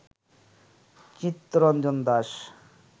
Chittaranjan Das